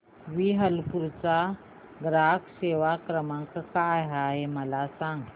Whirlpool चा ग्राहक सेवा क्रमांक काय आहे मला सांग